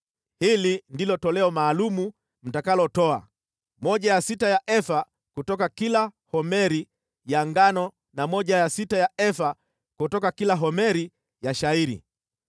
“ ‘Hili ndilo toleo maalum mtakalotoa: moja ya sita ya efa kutoka kila homeri ya ngano na moja ya sita ya efa kutoka kila homeri ya shayiri.